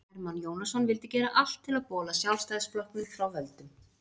Hermann Jónasson vildi gera allt til að bola Sjálfstæðisflokknum frá völdum.